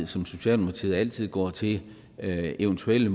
som socialdemokratiet altid går til eventuelle